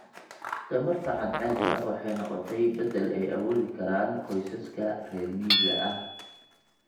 Tamarta cadceedda waxay noqotay beddel ay awoodi karaan qoysaska reer miyiga ah.